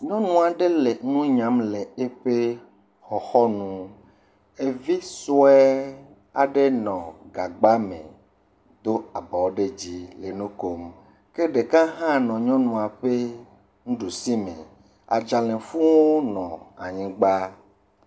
Nyɔnu aɖe le nu nyam le eƒe xɔxɔ nu ɖevi sua aɖe nɔ gagba me do abɔ ɖe dzi le nu kom, ke ɖeka hã nɔ nyɔnua ƒe ɖusi me adzalɛ fu nɔ anyigba.